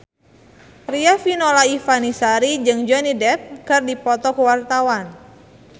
Riafinola Ifani Sari jeung Johnny Depp keur dipoto ku wartawan